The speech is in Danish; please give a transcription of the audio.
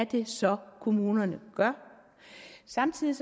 det så er kommunerne gør samtidig